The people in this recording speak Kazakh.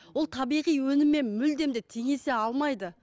ол табиғи өніммен мүлдем де теңесе алмайды